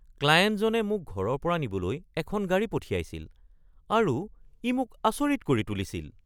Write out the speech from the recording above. ক্লায়েণ্টজনে মোক ঘৰৰ পৰা নিবলৈ এখন গাড়ী পঠিয়াইছিল আৰু ই মোক আচৰিত কৰি তুলিছিল।